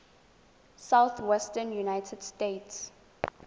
southwestern united states